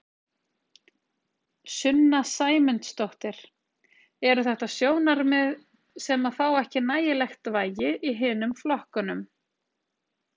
Sunna Sæmundsdóttir: Eru þetta sjónarmið sem að fá ekki nægilegt vægi í hinum flokkunum?